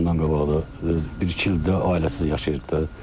Ondan qabaq da bir-iki ildir ailəsiz yaşayırdı da.